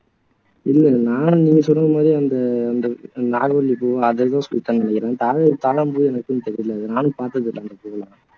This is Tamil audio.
இல்லை நான் நீங்க சொன்ன மாதிரி அந்த அந்த நாகவல்லிப்பூ அதை தா தாழம்பூ எனக்கும் தெரியல நானும் பாத்ததில்லை ராஜதுரை